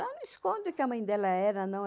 Ela não esconde o que a mãe dela era, não.